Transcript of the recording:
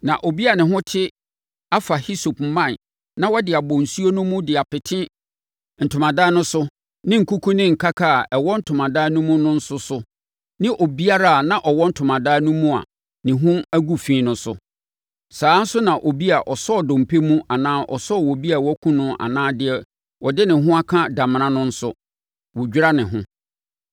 Na obi a ne ho te afa hisope mman na ɔde abɔ nsuo no mu de apete ntomadan no so ne nkuku ne nkaka a ɛwɔ ntomadan no mu no nso so ne obiara a na ɔwɔ ntomadan no mu a ne ho agu fi no so. Saa ara nso na obi a ɔsɔɔ dompe mu anaa ɔsɔɔ obi a wɔakum no anaa deɛ ɔde ne ho aka damena no nso, wɔdwira ne ho.